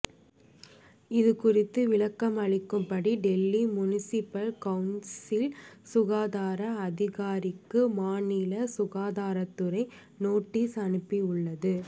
இது குறித்து விளக்கம் அளிக்கும்படி டெல்லி முனிசபல் கவுன்சில் சுகாதார அதிகாரிக்கு மாநில சுகாதாரத்துறை நோட்டீஸ் அனுப்பி உள்ளது